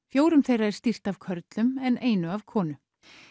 fjórum þeirra er stýrt af körlum en einu af konu